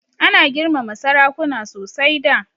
Ana girmama sarakuna sosai da.